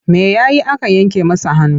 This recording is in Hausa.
Me ya yi aka yanke masa hannu?